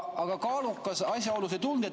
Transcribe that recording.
Aga kaalukas asjaolu ...